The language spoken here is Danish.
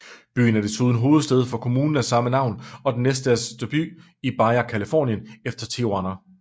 Byen er desuden hovedsæde for kommunen af samme navn og den næststørste by i Baja California efter Tijuana